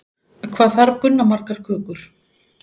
Hvað þarf Gunna margar kökur?